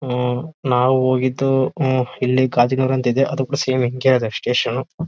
ಉಹ್ ನಾವು ಹೋಗಿದ್ದು ಉಹ್ ಇಲ್ಲಿ ಗಾಜನೂರ್ ಅಂತ ಇದೆ ಅದು ಕೂಡ ಸೇಮ್ ಹಿಂಗೇ ಇದೆ ಸ್ಟೇಷನ್ .